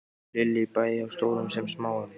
Lillý: Bæði hjá stórum sem smáum?